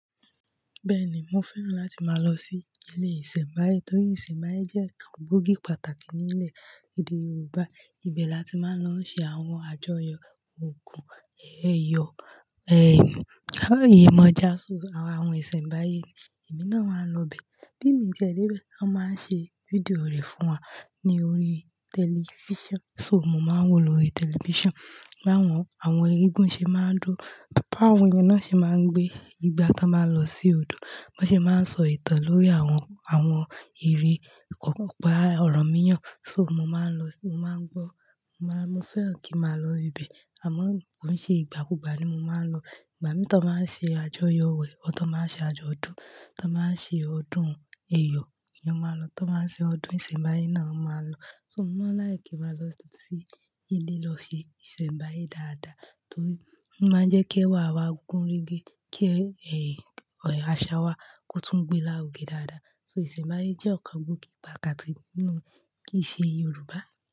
Bẹ́ẹ̀ ni, mo fẹ́ràn láti máa lọ sí ilé ìsẹ̀mbáyé torí ìsẹ̀mbáyé jẹ́ ọ̀kan gbòógì pàtàkì ní ilẹ̀ èdè Yoruba. Ibẹ̀ la ti máa ń lọ ṣe àwọn àjọyọ̀, ògùn ẹ̀ẹ̀yọ̀, ẹ̀, àwọn iyẹ̀mọ́ja, so àwọn ìsẹ̀mbáyé, émi náà máa ń lọ ibẹ̀. Bí mi ti ẹ́ dé ibẹ̀, wọ́n máa ń ṣe fídíò rẹ̀ fún wa ní orí tẹlifíṣàn, so mo máa ń wò lóri tẹlifíṣàn. Láwọn àwọn igún ṣe máa ń jó. Bá àwọn èèyàn náà ṣe máa ń gbé ìgbà tí wọ́n máa ń lọ sí odò. Wọ́n sì máa ń sọ ìtàn lórí àwọn, àwọn ìrí, ọ̀pá ọ̀rànmíyàn So, mo máa ń lọ, mo máa ń gbọ́, mo máa, mo fẹ́ràn kí màá lọ ibẹ̀. Àmọ́ kò ń ṣe ìgbàkúgbà ni mo máa ń lọ. Ìgbà mìí tí wọ́n báa ń ṣe àjọyọ̀ wẹ̀, or ti won báa ń ṣe àjọdun, tí wọ́n báa ń ṣe ọdún ẹ̀ẹ̀yọ̀, eeyan máa lọ. Tí wọ́n máa ń ṣe ọdún ìsẹ̀mbáyé náà, won máa lọ. So mo máa ń like ki n màá lọ sí ilé lọ ṣe ìsẹ̀mbáyé dáadáa torí ó máa ń jẹ́ kí ẹwà wa gún régé, kí, àṣà wa kó tún gbéra ròkè dáadáa. So ìsẹ̀mbáyé jẹ́ nkan gbòógì pàtàkì nínú ìṣe Yorùbá.